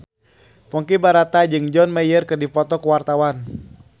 Ponky Brata jeung John Mayer keur dipoto ku wartawan